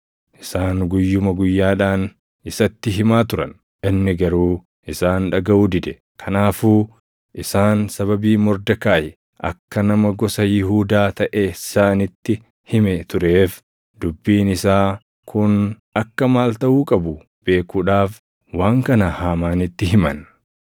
Isaan guyyuma guyyaadhaan isatti himaa turan; inni garuu isaan dhagaʼuu dide. Kanaafuu isaan sababii Mordekaayi akka nama gosa Yihuudaa taʼe isaanitti hime tureef dubbiin isaa kun akka maal taʼuu qabu beekuudhaaf waan kana Haamaanitti himan.